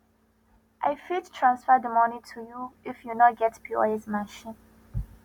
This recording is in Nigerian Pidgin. i fit transfer di moni to you if you no get pos machine